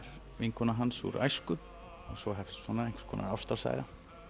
vinkona hans úr æsku svo hefst svona einhvers konar ástarsaga